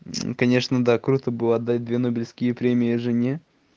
конечно да круто было отдать две нобелевские премии жене